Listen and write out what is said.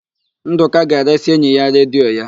Ndụka ga-eresị enyi ya redio ya.